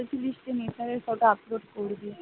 বলছি বৃষ্টি মিঠাইয়ের photo upload করবি?